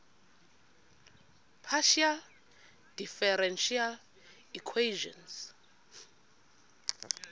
partial differential equations